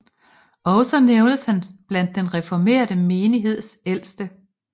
Også nævnes han blandt den reformerte menigheds ældste